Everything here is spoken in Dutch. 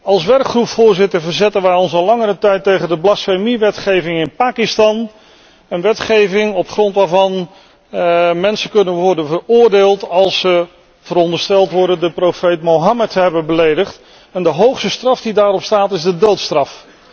Als werkgroep, Voorzitter, verzetten wij ons al langere tijd tegen de blasfemiewetgeving in Pakistan, een wetgeving op grond waarvan mensen kunnen worden veroordeeld als ze verondersteld worden de profeet Mohammed te hebben beledigd, en de hoogste straf die daarop staat is de doodstraf.